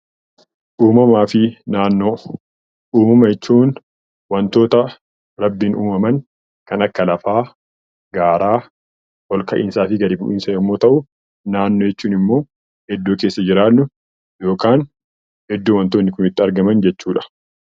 Uumama jechuun wantoota uumaman kan akka ol ka'iinsaa fi gadi bu'iinsa yommuu ta'u, naannoo jechuun immoo iddoo keessa jirru yookaan iddoo wantoonni Kun itti argaman jechuudha